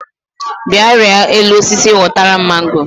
Bịa rịa elu osisi họtara m mango